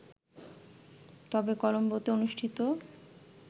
তবে কলোম্বোতে অনুষ্ঠিত